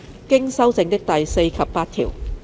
經修正的第4及8條。